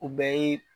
U bɛɛ ye